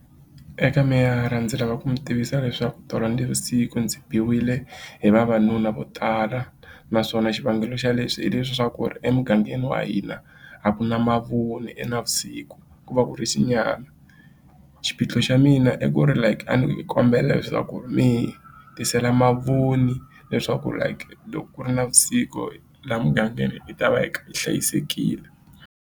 Eka meyara ndzi lava ku mi tivisa leswaku tolo navusiku ndzi biwile hi vavanuna vo tala naswona xivangelo xa leswi hi leswiya swa ku emugangeni wa hina a ku na mavoni e navusiku ku va ku ri xinyama xiphiqo xa mina i ku ri like a ni kombela leswaku mi hi tisela mavoni leswaku like loko ku ri navusiku laha mugangeni hi ta va hi hlayisekile.